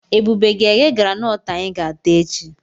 Ebube ga-eghe granọọtụ anyị ga-ata echi.